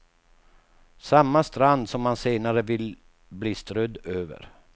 Samma strand som han senare vill bli strödd över.